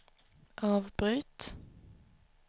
avbryt